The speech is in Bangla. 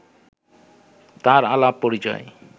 তাঁর আলাপ-পরিচয়